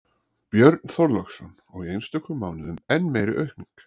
Björn Þorláksson: Og í einstökum mánuðum enn meiri aukning?